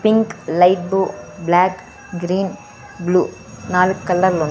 pink light బూ black green blue నాలుగ్ కలర్లు ఉన్--